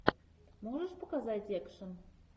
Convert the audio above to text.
можешь показать экшн